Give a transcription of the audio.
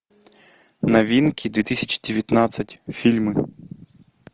новинки две тысячи девятнадцать фильмы